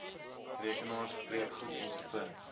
rekenaars breekgoed ens